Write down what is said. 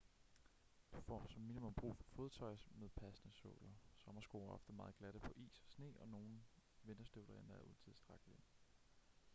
du får som minimum brug for fodtøj med passende såler sommersko er ofte meget glatte på is og sne og nogle vinterstøvler er endda utilstrækkelige